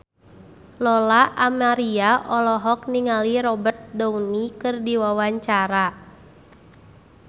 Lola Amaria olohok ningali Robert Downey keur diwawancara